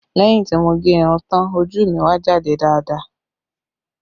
Lẹ́yìn tí mo gẹ irun tán, ojú mi wá jáde dáadáa